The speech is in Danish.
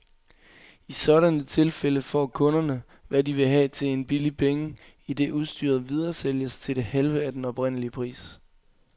I sådanne tilfælde får kunderne, hvad de vil have til en billig penge, idet udstyret videresælges til det halve af den oprindelige pris.